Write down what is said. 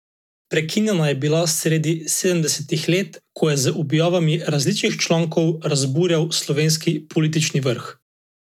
Prekinjena je bila sredi sedemdesetih let, ko je z objavami različnih člankov razburjal slovenski politični vrh.